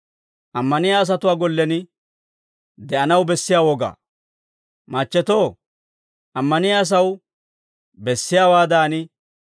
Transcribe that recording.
Machchetoo, ammaniyaa asaw bessiyaawaadan, hinttenttu asinaw moodettite.